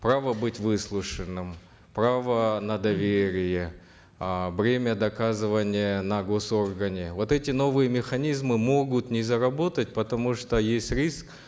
право быть выслушанным право на доверие э бремя доказывания на госоргане вот эти новые механизмы могут не заработать потому что есть риск